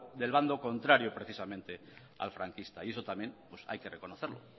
del bando contrario precisamente al franquista y eso también hay que reconocerlo